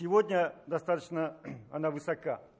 сегодня достаточно она высока